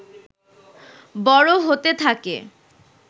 বড় হতে থাকে